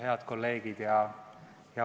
Head kolleegid!